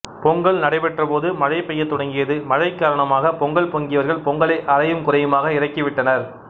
பொங்கல் நடைபெற்றபோது மழைபெய்யத் தொடங்கியது மழைகாரணமாக பொங்கல் பொங்கியவர்கள் பொங்கலை அரையும் குறையுமாக இறக்கிவிட்டனர்